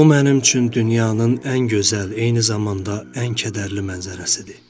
Bu mənim üçün dünyanın ən gözəl, eyni zamanda ən kədərli mənzərəsidir.